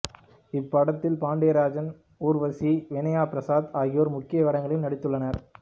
இப்படத்தில் பாண்டியராஜன் ஊர்வசி வினயா பிரசாத் ஆகியோர் முக்கிய வேடங்களில் நடித்துள்ளனர்